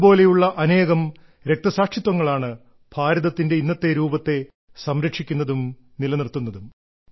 ഇതുപോലെയുള്ള അനേകം രക്തസാക്ഷിത്വങ്ങളാണ് ഭാരതത്തിന്റെ ഇന്നത്തെ രൂപത്തെ സംരക്ഷിക്കുന്നതും നിലനിർത്തുന്നതും